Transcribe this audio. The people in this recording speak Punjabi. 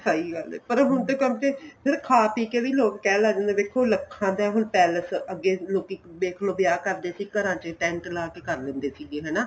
ਸਹੀਂ ਗੱਲ ਏ ਪਰ ਹੁਣ ਤੇ ਗੱਲ ਇਹ ਸਿਰਫ਼ ਖਾ ਪੀ ਕੇ ਵੀ ਲੋਕ ਕਹਿਣ ਲੱਗ ਜਾਂਦੇ ਏ ਲੱਖਾਂ ਦਾ ਹੁਣ ਪੇਲਸ ਅੱਗੇ ਲੋਕੀ ਦੇਖਲੋ ਵਿਆਹ ਕਰਦੇ ਸੀ ਘਰਾਂ ਵਿੱਚ ਟੇਂਟ ਲਾ ਕੇ ਕਰ ਦਿੰਦੇ ਸੀਗੇ ਹਨਾ